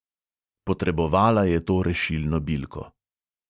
Potrebovala je to rešilno bilko.